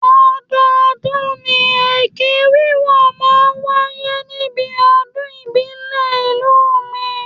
Ọdọọdún ni ẹkẹ wíwọ̀n máa ń wáyé níbi ọdún ìbílẹ̀ ìlú mi